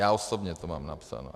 Já osobně to mám napsáno.